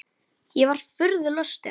Ég var furðu lostin.